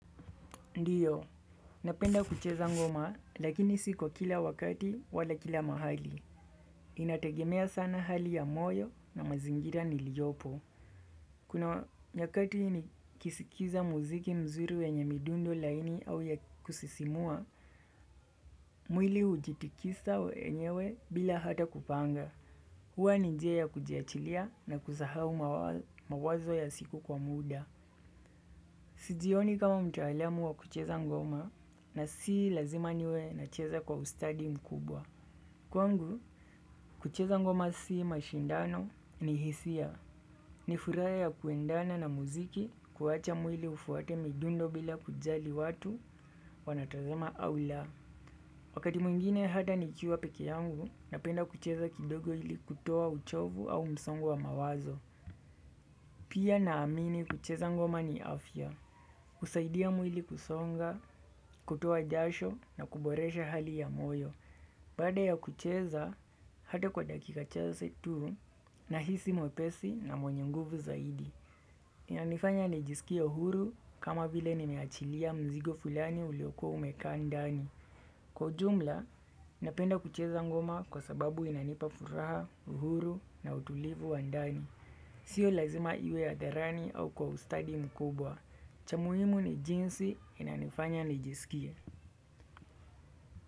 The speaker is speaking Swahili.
Ndiyo, napenda kucheza ngoma lakini si kwa kila wakati wala kila mahali. Inategemea sana hali ya moyo na mazingira niliyopo. Kuna nyakati nikiskiza muziki mzuri wenye midundo laini au ya kusisimua, mwili ujitikisa wenyewe bila hata kupanga. Huwa ni njia ya kujiachilia na kusahau mawazo ya siku kwa muda. Sijioni kama mtaalam wa kucheza ngoma na si lazima niwe nacheza kwa ustadi mkubwa. Kwangu, kucheza ngoma sii mashindano ni hisia. Ni furaha ya kuendana na muziki kuwacha mwili ufuate midundo bila kujali watu wanatazama au la. Wakati mwingine hata nikiwa peke yangu napenda kucheza kidogo ili kutoa uchovu au msongo wa mawazo. Pia naamini kucheza ngoma ni afya. Husaidia mwili kusonga, kutoa jasho na kuboresha hali ya moyo. Baada ya kucheza hata kwa dakika chache tu nahisi mwepesi na mwenye nguvu zaidi. Inanifanya nijisikie huru kama vile nimeachilia mzigo fulani uliokuwa umekaa ndani. Kwa jumla, napenda kucheza ngoma kwa sababu inanipa furaha uhuru na utulivu wa ndani. Sio lazima iwe ya hadharani au kwa ustadi mkubwa. Cha muhimu ni jinsi inanifanya nijisikie.